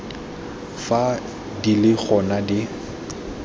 fa di le gona di